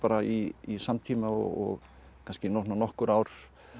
í samtíma og kannski svona nokkur ár